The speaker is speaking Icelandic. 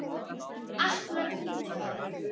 Akkúrat fimmtíu ár.